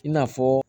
I n'a fɔ